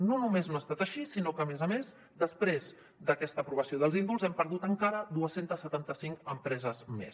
no només no ha estat així sinó que a més a més després d’aquesta aprovació dels indults hem perdut encara dos cents i setanta cinc empreses més